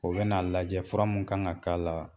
O bɛn'a lajɛ fura mun kan ŋa k'a la